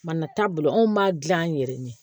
Mana taabolo anw b'a gilan an yɛrɛ ye